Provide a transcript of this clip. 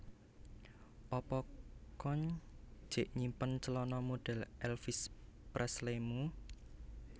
Apa koen jek nyimpen celono modhel Elvis Presley mu